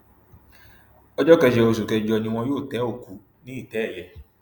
ọjọ kẹjọ oṣù kẹjọ ni wọn yóò tẹ òkú ní ìtẹ ẹyẹ